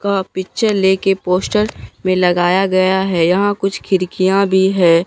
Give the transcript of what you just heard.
का पिक्चर ले के पोस्टर पे लगाया गया हैं यहां कुछ खिड़कियां भी हैं।